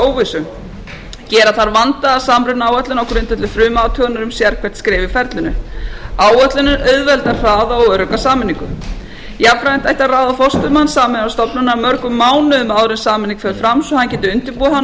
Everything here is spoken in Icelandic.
óvissu gera þarf vandaða samrunaáætlun á grundvelli frumathugunar um sérhvert skref í ferlinu áætlunin auðveldar hraða og örugga sameiningu jafnframt ætti að ráða forstöðumann sameiginlegrar stofnunar mörgum mánuðum áður en sameining fer fram svo að hann geti undirbúið hana og